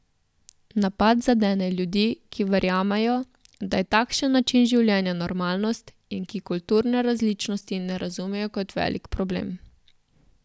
Napad zadene ljudi, ki verjamejo, da je takšen način življenja normalnost, in ki kulturne različnosti ne razumejo kot velik problem.